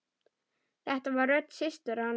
Þetta var rödd systur hans.